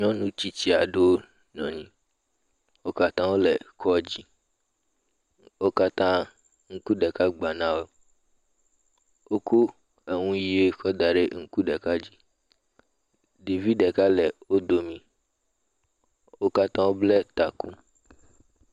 Nyɔnu tsitsi aɖewo nɔ anyi, wo katã wole kɔdzi, wo katã, ŋku ɖeka gba na wo, wokɔ enu ʋe kɔ da ŋku ɖeka, ɖevi ɖeka le wo dome, wo katã wobla taku.